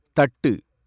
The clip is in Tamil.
தட்டு